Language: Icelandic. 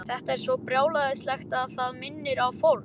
Þetta er svo brjálæðislegt að það minnir á fórn.